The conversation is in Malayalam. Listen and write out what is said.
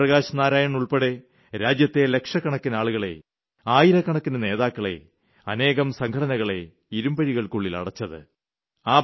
ജയപ്രകാശ് നാരായൺ ഉൾപ്പെടെ രാജ്യത്തെ ലക്ഷക്കക്കിന് ആളുകളെ ആയിരക്കണക്കിന് നേതാക്കളെ അനേകം സംഘടനകളെ ഇരുമ്പഴികൾക്കുള്ളിൽ അടച്ചത്